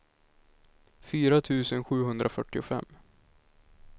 fyra tusen sjuhundrafyrtiofem